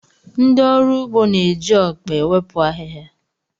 Ndị ọrụ ugbo na-eji ọkpa ewepụ ahịhịa.